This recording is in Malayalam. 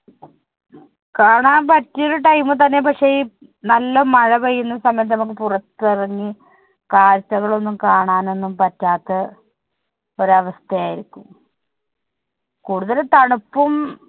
കാണാൻ പറ്റിയ ഒരു time തന്നെ. പക്ഷെ ഈ നല്ല മഴ പെയ്യുന്ന സമയത്ത് നമുക്ക് പുറത്തിറങ്ങി കാഴ്ചകൾ ഒന്നും കാണാൻ ഒന്നും പറ്റാത്ത ഒരു അവസ്ഥയായിരിക്കും. കുടുതലും തണുപ്പും